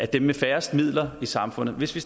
dem med færrest midler i samfundet hvis vi